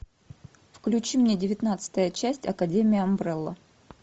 включи мне девятнадцатая часть академия амбрелла